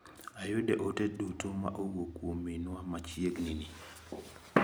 Ayudo ote duto ma owuok kuom minwa machieg ni ni.